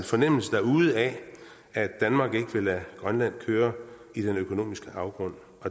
fornemmelse derude af at danmark ikke vil lade grønland køre i den økonomiske afgrund